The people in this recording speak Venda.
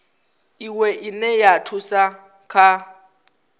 iwe ine ya thusa kha